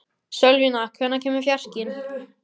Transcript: Sölvína, hvenær kemur fjarkinn?